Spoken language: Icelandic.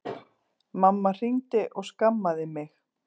Mamma hringdi og skammaði mig